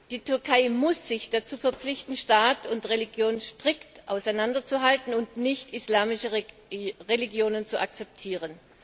Die Türkei muss sich dazu verpflichten, Staat und Religion strikt zu trennen und nicht islamische Religionen zu akzeptieren.